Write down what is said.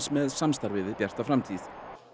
með samstarfið við Bjarta framtíð